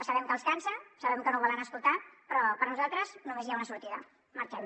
sabem que els cansa sabem que no ho volen escoltar però per nosaltres només hi ha una sortida marxem